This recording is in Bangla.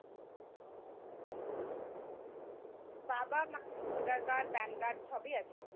বাবা মার ভোটার কার্ড কার্ড সবই আছে